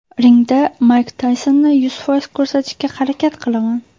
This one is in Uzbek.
Ringda Mayk Taysonni yuz foiz ko‘rsatishga harakat qilaman.